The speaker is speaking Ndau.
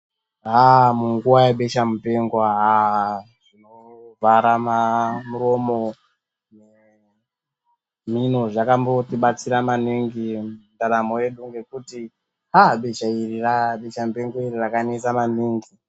Haa munguva yebeshamupengo haa haa zvinovhara muromo nemhino zvakambotibatsira maningi ndaramo yedu ngekuti haa beshamupengo iri rakanesa maningi.